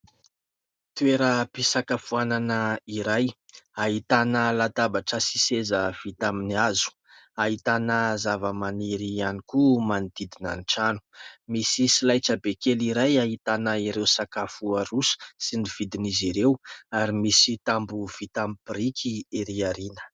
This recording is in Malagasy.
Toeram-pisakafoanana iray ahitana latabatra sy seza vita amin'ny hazo. Ahitana zavamaniry ihany koa manodidina ny trano. Misy solaitrabe kely iray ahitana ireo sakafo aroso sy ny vidiny izy ireo ary misy tamboho vita amin'ny biriky erỳ ao aoriana.